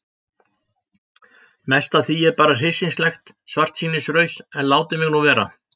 Mest af því er bara hryssingslegt svartsýnisraus en látið mig nú vera.